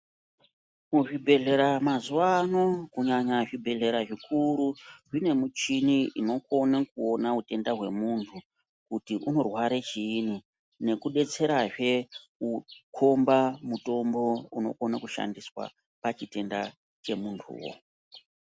Muzvibhedhlera mazuva ano kunyanya zvibhedhlera zvikuru Mune muchini unokona kuona utenda hwemuntu kuti unorwara chinyi nskudetserazve kukomba mitombo inokona kushanda pachitenda chemuntu.